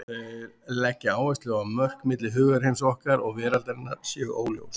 Þeir leggja áherslu á að mörk milli hugarheims okkar og veraldarinnar séu óljós.